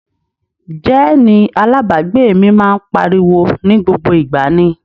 Jẹ́ẹ̀nì alábàágbé mi máa ń pariwo ní gbogbo ìgbà ni